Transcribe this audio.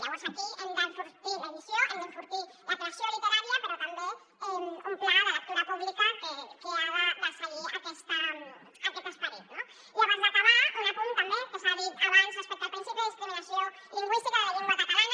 llavors aquí hem d’enfortir l’edició hem d’enfortir la creació literària però també un pla de lectura pública que ha de seguir aquest esperit no i abans d’acabar un apunt també que s’ha dit abans respecte al principi de discriminació lingüística de la llengua catalana